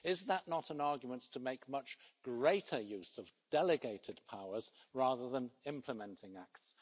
Is that not an argument to make much greater use of delegated powers rather than implementing acts?